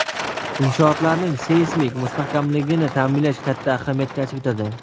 inshootlarning seysmik mustahkamligini ta’minlash katta ahamiyat kasb etadi.